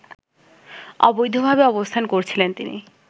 অবৈধভাবে অবস্থান করছিলেন তিনি